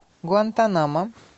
гуантанамо